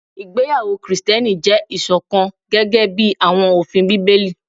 Igbeyawo Kristiẹni jẹ iṣọkan gẹgẹbi awọn ofin Bibeli